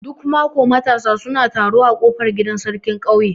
Duk mako matasa suna taro a kofar gidan sarkin ƙauye.